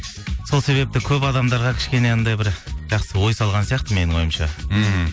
сол себепті көп адамдарға кішкене анандай бір жақсы ой салған сияқты менің ойымша мхм